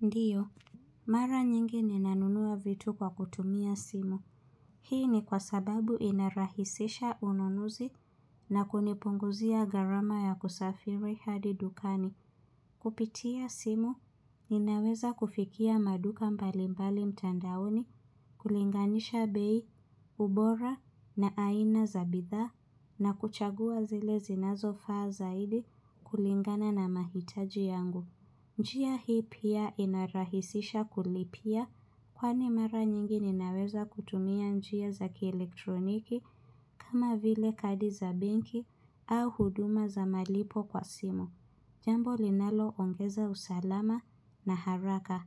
Ndio, mara nyingi ninanunua vitu kwa kutumia simu. Hii ni kwa sababu inarahisisha ununuzi na kunipunguzia gharama ya kusafiri hadi dukani. Kupitia simu, ninaweza kufikia maduka mbalimbali mtandaoni, kulinganisha bei, ubora na aina za bidhaa na kuchagua zile zinazofaa zaidi kulingana na mahitaji yangu. Njia hii pia inarahisisha kulipia kwani mara nyingi ninaweza kutumia njia za kielektroniki kama vile kadi za benki au huduma za malipo kwa simu. Jambo linaloongeza usalama na haraka.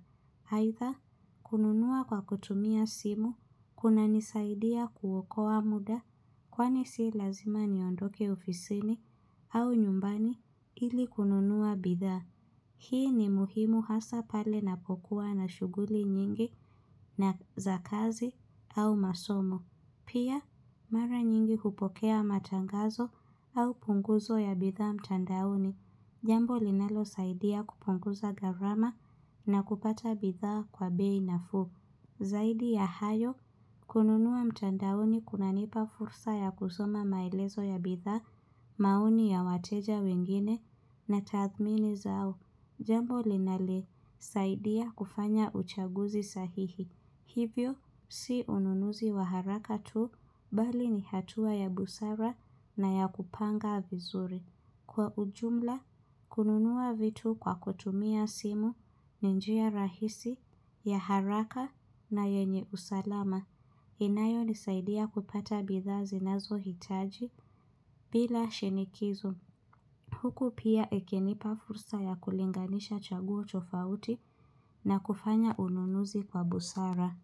Aidha, kununua kwa kutumia simu, kunanisaidia kuokoa muda kwani si lazima niondoke ofisini au nyumbani ili kununua bidhaa. Hii ni muhimu hasa pale napokuwa na shughuli nyingi na za kazi au masomo. Pia, mara nyingi kupokea matangazo au punguzo ya bidhaa mtandauni. Jambo linalosaidia kupunguza gharama na kupata bidhaa kwa bei nafuu. Zaidi ya hayo, kununua mtandaoni kunanipa fursa ya kusoma maelezo ya bidhaa, maoni ya wateja wengine na tathmini zao. Jambo linalisaidia kufanya uchaguzi sahihi. Hivyo, si ununuzi wa haraka tu, bali ni hatua ya busara na ya kupanga vizuri. Kwa ujumla, kununua vitu kwa kutumia simu, ni njia rahisi, ya haraka na yenye usalama. Inayonisaidia kupata bidhaa zinazohitaji bila shinikizo. Huku pia ikinipa fursa ya kulinganisha chaguo tofauti na kufanya ununuzi kwa busara.